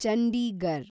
Chandigarh